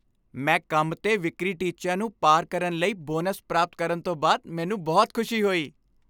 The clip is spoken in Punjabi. ਮੈਂ ਕੰਮ 'ਤੇ ਵਿਕਰੀ ਟੀਚਿਆਂ ਨੂੰ ਪਾਰ ਕਰਨ ਲਈ ਬੋਨਸ ਪ੍ਰਾਪਤ ਕਰਨ ਤੋਂ ਬਾਅਦ ਮੈਨੂੰ ਬਹੁਤ ਖੁਸ਼ੀ ਹੋਈ।